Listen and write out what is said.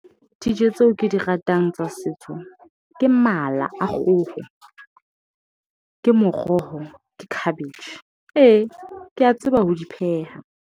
Dijo tseo ke di ratang tsa setso. Ke mala a kgoho, ke moroho ke cabbage. Ee, ke a tseba ho di pheha.